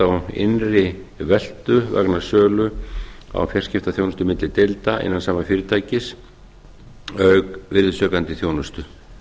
á innri veltu vegna sölu á fjarskiptaþjónustu milli deilda innan sama fyrirtækis auk virðisaukandi þjónustu